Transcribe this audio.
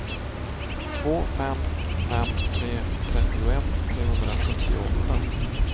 två fem fem tre trettioett trehundrasjuttioåtta